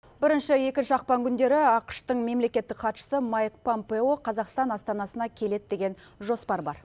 бірінші екінші ақпан күндері ақш тың мемлекеттік хатшысы майк пампео қазақстан астанасына келеді деген жоспар бар